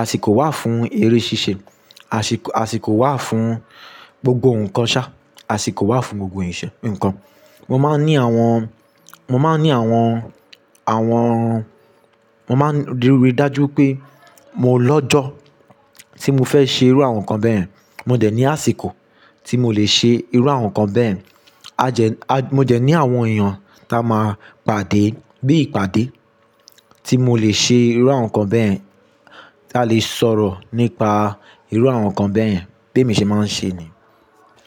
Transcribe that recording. àsìkò wà fún eré ṣíṣe, àṣìk- àsìkò wà fún gbogbo nnkan ṣá, àsìkò wà fún gbogbo ìṣe- nnkan. Mo máa ń ní àwọn, mo máa ń ní àwọn, àwọn, mo máa ń ríi dájú pé mo lọ́jọ́ tí mo fẹ́ ṣe irú àwọn nǹkan bẹ́ẹ̀, mo jẹ̀ ní àsìkò tí mo lè ṣe irú àwọn nǹkan bẹ́ẹ̀. A jẹ, a, mo jẹ̀ ní àwọn èèyàn ta máa pàdé, bí i ìpàdé tí mo lè ṣe irú àwọn nǹkan bẹ́ẹ̀, tí a lè sọ̀rọ̀ nípa irú àwọn nǹkan bẹ́ẹ̀. Bí emi ṣe máa ń ṣe ni.